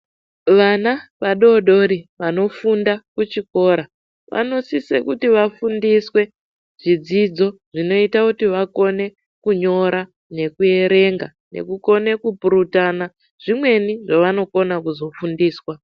Vana vadodori vanofunda kuchikora vanosise kuti vafundiswe zvidzidzo zvinoita kuti vakone kunyora nekuerenga. Nekukone kupurutana zvimweni zvavanokona kuzofundiswa.